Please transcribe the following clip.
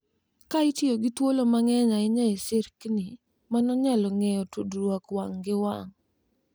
Ka itiyo gi thuolo mang’eny ahinya e skrini, mano nyalo geng’o tudruok wang’ gi wang’,